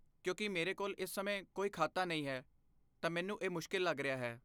ਕਿਉਂਕਿ ਮੇਰੇ ਕੋਲ ਇਸ ਸਮੇਂ ਕੋਈ ਖਾਤਾ ਨਹੀਂ ਹੈ ਤਾਂ ਮੈਨੂੰ ਇਹ ਮੁਸ਼ਕਿਲ ਲੱਗ ਰਿਹਾ ਹੈ।